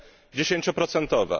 dziesięcioprocentowa.